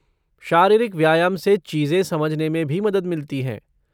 शारीरिक व्यायाम से चीजें समझने में भी मदद मिलती हैं।